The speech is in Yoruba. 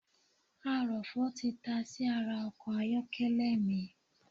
Arọ̀fọ̀ tí tasí ara ọkọ̀ ayọ́kẹ́lẹ̀ mi